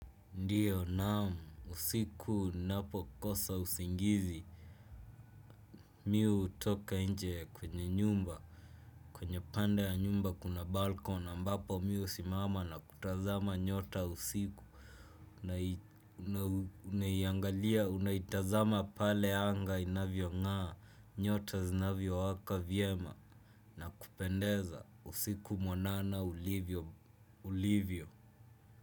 Ndiyo naam, usiku napokosa usingizi, mi hutoka nje kwenye nyumba. Kwenye pande ya nyumba kuna balkona, mbapo mi husimama na kutazama nyota usiku. Na unaingalia unaitazama pale anga inavyo ng'aa, nyota zinavyowaka vyema, na kupendeza usiku mwanana ulivyo.